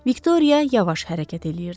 Viktoriya yavaş hərəkət eləyirdi.